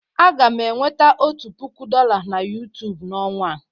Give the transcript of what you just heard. Aga m enweta otu puku dọla na YouTube n'ọnwa a.